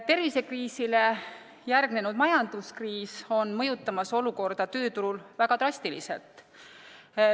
Tervisekriisile järgnenud majanduskriis on mõjutamas olukorda tööturul väga drastiliselt.